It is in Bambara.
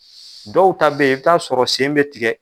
Dɔw ta bɛ ye i bɛ taa sɔrɔ sen bɛ tigɛ.